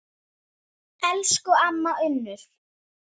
Elsku amma Unnur.